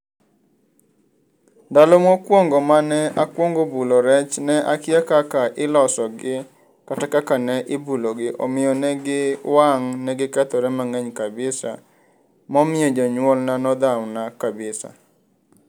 Ndalo mokwongo mane akwongo bulo rech ne akia kaka ilosogi kata kaka ne ibulogi. Omiyo ne giwang', negikethore mang'eny kabisa momiyo jonyuolna nodhawona kabisa.